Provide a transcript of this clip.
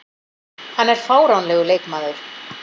Hann er fáránlegur leikmaður.